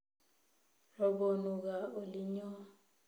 Robonu gaa olinyo